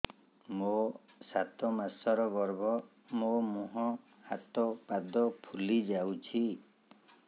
ମୋ ସାତ ମାସର ଗର୍ଭ ମୋ ମୁହଁ ହାତ ପାଦ ଫୁଲି ଯାଉଛି